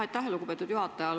Aitäh, lugupeetud juhataja!